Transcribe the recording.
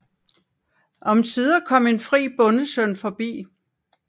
Omsider kom en fri bondesøn forbi